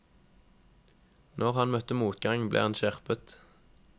Når han møtte motgang, ble han skjerpet.